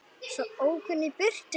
Svo ók hún í burtu.